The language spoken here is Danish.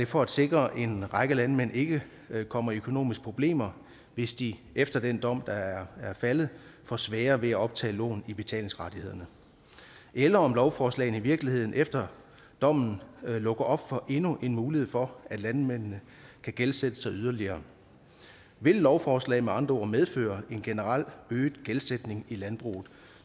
for at sikre at en række landmænd ikke kommer i økonomiske problemer hvis de efter den dom der er faldet får sværere ved at optage lån i betalingsrettighederne eller om lovforslaget i virkeligheden efter dommen lukker op for endnu en mulighed for at landmændene kan gældsætte sig yderligere vil lovforslaget med andre ord medføre en generelt øget gældsætning i landbruget